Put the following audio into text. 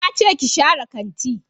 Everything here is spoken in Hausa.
Na ce ki share kanti